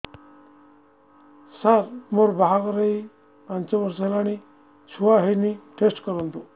ସାର ମୋର ବାହାଘର ହେଇ ପାଞ୍ଚ ବର୍ଷ ହେଲାନି ଛୁଆ ହେଇନି ଟେଷ୍ଟ କରନ୍ତୁ